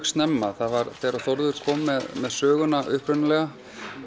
snemma þegar Þórður kom með með söguna upprunalega